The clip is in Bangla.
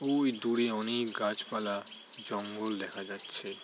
ওই দূরে অনকে গাছ পালা জঙ্গল পাওয়া যাচ্ছে।